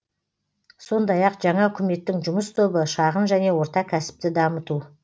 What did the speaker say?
сондай ақ жаңа үкіметтің жұмыс тобы шағын және орта кәсіпті дамыту